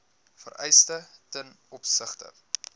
vereistes ten opsigte